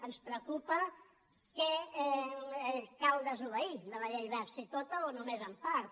ens preocupa què cal desobeir de la llei wert si tota o només en part